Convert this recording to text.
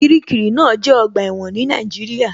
Kiríkirì náà jẹ́ ọgbà ẹ̀wọ̀n ní Nàìjíríà